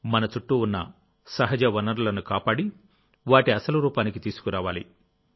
మన చుట్టూ ఉన్న సహజ వనరులను కాపాడి వాటి అసలు రూపానికి తీసుకురావాలి